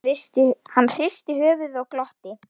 Hann hristi höfuðið og glotti.